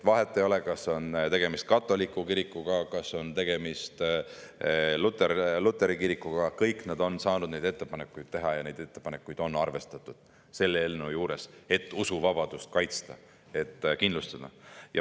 Vahet ei ole, kas tegemist on katoliku kirikuga, kas tegemist on luteri kirikuga – kõik nad on saanud neid ettepanekuid teha ja neid ettepanekuid on selles eelnõus arvestatud, selleks et usuvabadust kaitsta ja kindlustada.